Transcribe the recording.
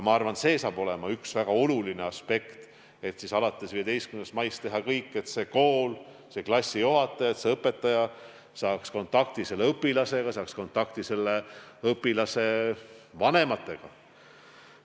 Ma arvan, et ka see on üks väga oluline aspekt – alates 15. maist tuleb teha kõik, et see kool, see klassijuhataja, see õpetaja saaks kontakti õpilasega ja saaks kontakti selle õpilase vanematega.